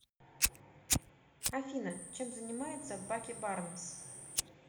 афина чем занимается баки барнс